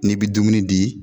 N'i be dumuni di